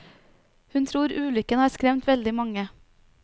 Hun tror ulykken har skremt veldig mange.